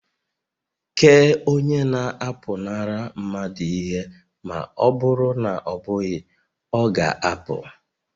Kee onye na-apụnara mmadụ ihe ma ọ bụrụ na ọ bụghị, ọ ga-apụ